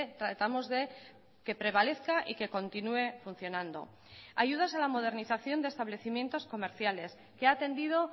tratamos de que prevalezca y que continúe funcionando ayudas a la modernización de establecimientos comerciales que ha atendido